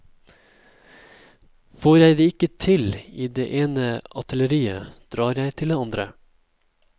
Får jeg det ikke til i det ene atelieret, drar jeg til det andre.